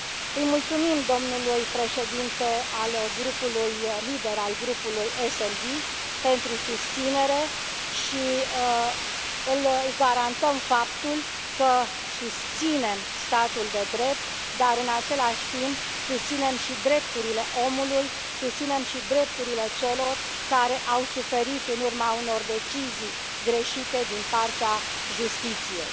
Îi mulțumim domnului președinte al grupului SD pentru susținere și îi garantăm faptul că susținem statul de drept dar, în același timp, susținem și drepturile omului, susținem și drepturile celor care au suferit în urma unor decizii greșite din partea justiției.